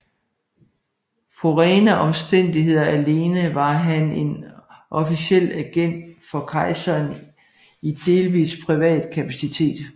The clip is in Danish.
På rene omstændigheder alene var han en officiel agent for kejseren i delvis privat kapacitet